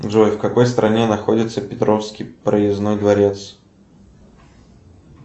джой в какой стране находится петровский проездной дворец